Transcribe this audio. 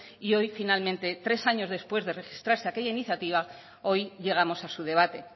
y hoy finalmente tres años después de registrarse aquella iniciativa hoy llegamos a su debate